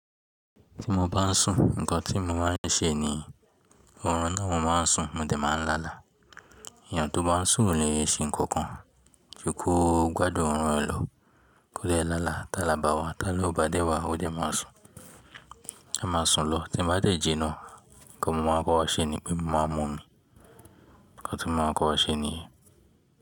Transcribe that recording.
Tí mo bá ń sùn nnkan tí mo máa ń ṣe ni, òórùn náà mo máa ń sùn mo dẹ̀ máa ń lálà. Ènìyàn tó bá ń sùn kò le ṣe ǹkankan, jukò ó gbádùn òórùn rẹ̀ lọ́, kó dè lálà. Tálà bá wá, ti ala oó bá dé wá, ó dẹ̀ máa sùn. Ẹ máa sùn lọ, tí mo bá tẹ̀ ji náà, nnkan mo máa kọ́kọ́ ṣe ni pé mo máa mú omi. Nnkan tí mo máa kọ́kọ́ ṣe nìyẹn.